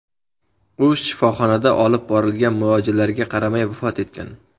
U shifoxonada olib borilgan muolajalarga qaramay vafot etgan.